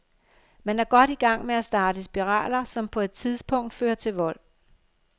Man er godt i gang med at starte spiraler, som på et tidspunkt fører til vold.